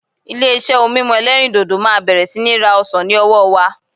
Ilé-iṣẹ́ ohun mímu ẹlẹ́rìdòdò máa bẹ̀rẹ̀ sí ní ra ọsàn ní ọwọ́ wa.